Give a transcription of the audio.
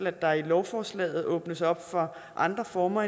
at der i lovforslaget åbnes op for andre former